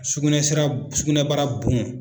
Sugunɛ sira sugunɛbara bon.